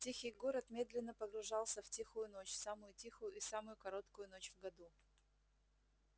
тихий город медленно погружался в тихую ночь самую тихую и самую короткую ночь в году